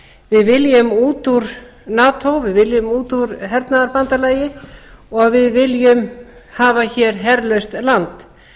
við viljum út úr nato við viljum út úr hernaðarbandalagi og við viljum hafa hér herlaust land